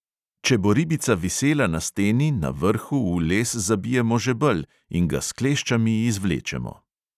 Če bo ribica visela na steni, na vrhu v les zabijemo žebelj in ga s kleščami izvlečemo.